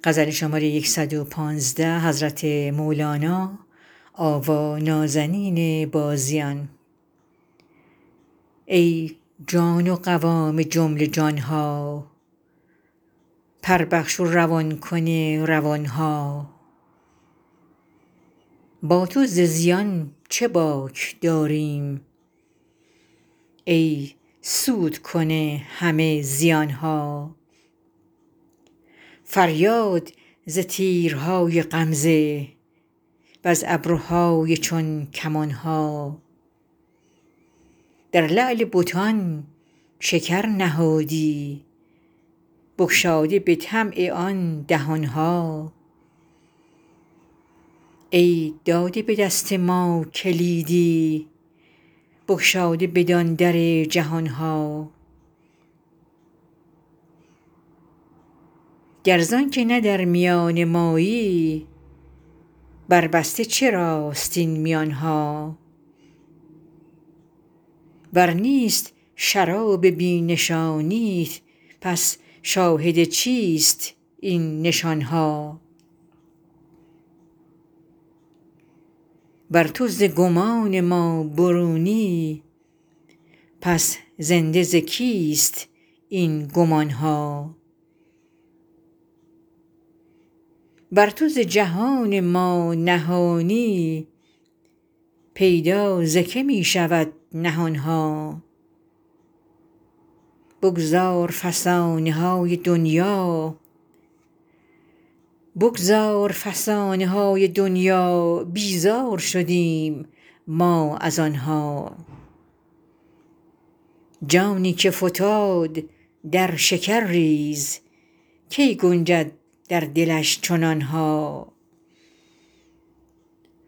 ای جان و قوام جمله جان ها پر بخش و روان کن روان ها با تو ز زیان چه باک داریم ای سودکن همه زیان ها فریاد ز تیرهای غمزه وز ابروهای چون کمان ها در لعل بتان شکر نهادی بگشاده به طمع آن دهان ها ای داده به دست ما کلیدی بگشاده بدان در جهان ها گر زانک نه در میان مایی برجسته چراست این میان ها ور نیست شراب بی نشانیت پس شاهد چیست این نشان ها ور تو ز گمان ما برونی پس زنده ز کیست این گمان ها ور تو ز جهان ما نهانی پیدا ز که می شود نهان ها بگذار فسانه های دنیا بیزار شدیم ما از آن ها جانی که فتاد در شکرریز کی گنجد در دلش چنان ها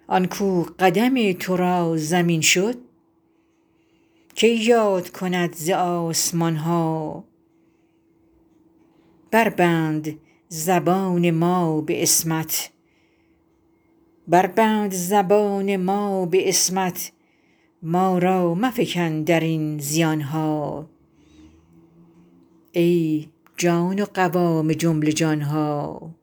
آن کاو قدم تو را زمین شد کی یاد کند ز آسمان ها بربند زبان ما به عصمت ما را مفکن در این زبان ها